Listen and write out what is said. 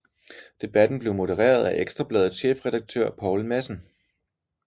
Debatten blev modereret af Ekstra Bladets chefredaktør Poul Madsen